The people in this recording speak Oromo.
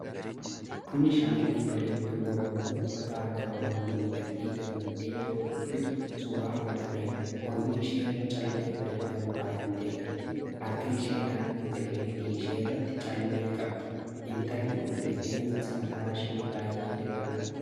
Kuni shamarree bareedduu Oromoo uffata aadaa Oromoon miidhagdee, gammaddee yeroo kolfitu suura fudhatamedha. Morma isheerra callee bareedaan faayamtee jirti. Harka ishee naannoo gateettii isheerraallee callee qabdi. Intalli kun rifeensi mataashee baay'ee dheeraadha.